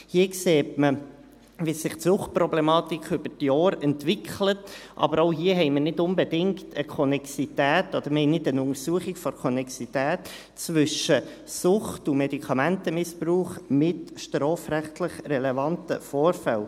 Hier sieht man, wie sich die Suchtproblematik über die Jahre entwickelt, aber auch hier haben wir nicht unbedingt eine Konnexität, oder wir haben keine Untersuchung der Konnexität, zwischen Sucht und Medikamentenmissbrauch mit strafrechtlich relevanten Vorfällen.